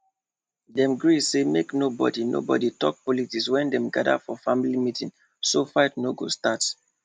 dem gree say make nobody nobody talk politics wen dem gather for family meeting so fight no go start